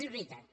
és veritat